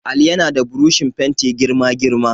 Ali yana da burushin fenti girma girma.